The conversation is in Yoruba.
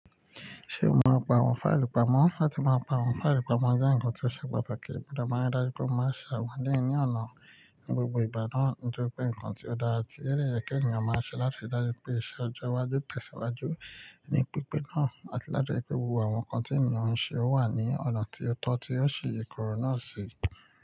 Ṣe o mọ apá àwọn fáìlì pamọ? Látí máa pàwon fáìlì pamọ jẹ́ ǹkan tí ó ṣe pàtàkì, mo de máa ń dájú pé o máa se àwọn eleyi ní ọ̀nà ní gbogbo ìgbà náà, nítori pé ǹkan tí ó dáa ti o de ye ki ènìyàn máa ń ṣe láti ri dájú pé iṣẹ́ ọjọ́ iwájú tẹ̀síwájú ní pípé náà àti láti ri pé gbogbo àwọn ǹkan tí ènìyàn ń ṣe wà ní ọ̀nà tí ó tọ́ tí ó sì ìkoro náà ṣi.